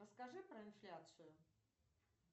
расскажи про инфляцию